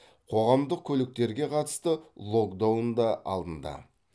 қоғамдық көліктерге қатысты локдаун да алынды